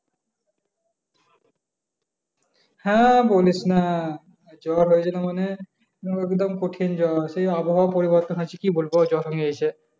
হে বলিসনা, জ্বর হয়েছিল মানে একদম কঠিন জ্বর সে আবহাওয়ার পরিবর্তন হয়েছে কি বলবো জ্বর হয়েছে